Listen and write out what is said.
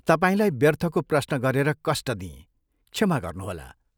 तपाईंलाई व्यर्थको प्रश्न गरेर कष्ट दिएँ, क्षमा गर्नुहोला।